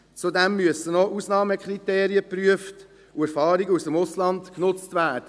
Zudem müssen Ausnahmekriterien geprüft und Erfahrungen aus dem Ausland genutzt werden.